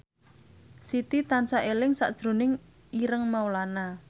Siti tansah eling sakjroning Ireng Maulana